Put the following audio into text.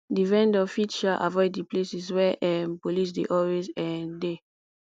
di vendor fit um avoid di places where um police dey always um de